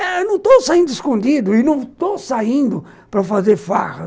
Eu não estou saindo escondido e não estou saindo para fazer farra.